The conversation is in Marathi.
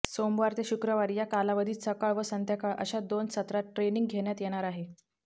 सोमवार ते शुक्रवार या कालावधीत सकाळ व संध्याकाळ अशा दोन सत्रात ट्रेनिंग घेण्यात येणार आहे